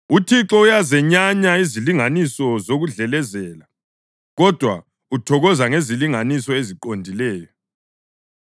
UThixo uyazenyanya izilinganiso zokudlelezela, kodwa uthokoza ngezilinganiso eziqondileyo.